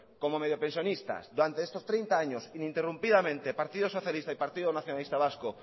como medio pensionistas durante estos treinta años interrumpidamente partido socialista y partido nacionalista vasco